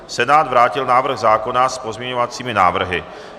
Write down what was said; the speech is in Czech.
Senát vrátil návrh zákona s pozměňovacími návrhy.